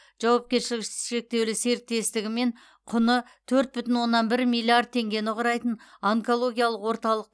жауапкершілігі шектеулі серіктестігімен құны төрт бүтін оннан бір миллиард теңгені құрайтын онкологиялық орталық